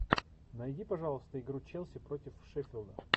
найди пожалуйста игру челси против шеффилда